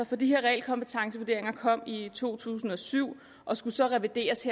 for de her realkompetencevurderinger kom i to tusind og syv og skulle så revideres